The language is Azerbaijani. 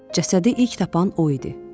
Cəsədi ilk tapan o idi.